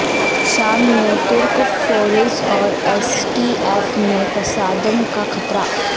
شام میں ترک فورسز اور ایس ڈی ایف میں تصادم کا خطرہ